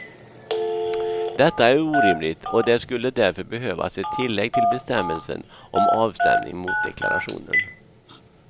Detta är orimligt och det skulle därför behövas ett tillägg till bestämmelsen om avstämning mot deklarationen.